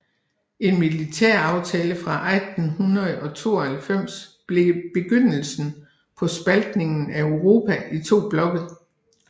En militæraftale fra 1892 blev begyndelsen på spaltningen af Europa i to blokke